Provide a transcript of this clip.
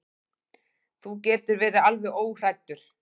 Þú getur verið alveg óhræddur.